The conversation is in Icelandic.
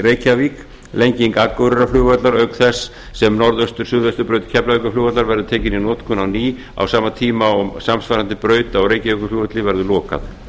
reykjavík og lenging akureyrarflugvallar auk þess sem norðaustur suðvestur braut keflavíkurflugvallar verður tekin í notkun á ný á sama tíma og og samsvarandi braut á reykjavíkurflugvelli verður lokað